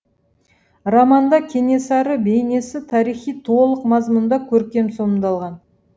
романда кенесары бейнесі тарихи толық мазмұнда көркем сомдалған